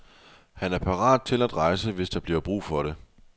Han er parat til at rejse, hvis der bliver brug for det.